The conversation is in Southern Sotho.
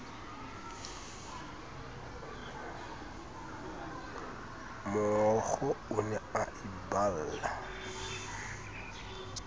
mookgo o ne a iballa